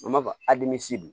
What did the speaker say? An b'a fɔ